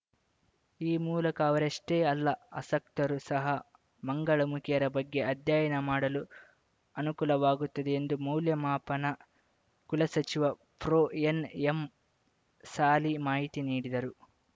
ಈ ಮೂಲಕ ಅವರಷ್ಟೇ ಅಲ್ಲ ಅಸಕ್ತರು ಸಹ ಮಂಗಳಮುಖಿಯರ ಬಗ್ಗೆ ಅಧ್ಯಯನ ಮಾಡಲು ಅನುಕೂಲವಾಗುತ್ತದೆ ಎಂದು ಮೌಲ್ಯಮಾಪನ ಕುಲಸಚಿವ ಪ್ರೊಎನ್‌ಎಂ ಸಾಲಿ ಮಾಹಿತಿ ನೀಡಿದರು